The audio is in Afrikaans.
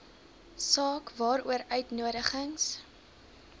saak waaroor uitnodigings